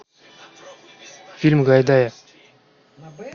фильм гайдая